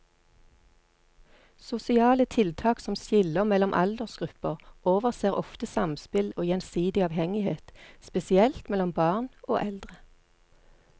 Sosiale tiltak som skiller mellom aldersgrupper overser ofte samspill og gjensidig avhengighet, spesielt mellom barn og eldre.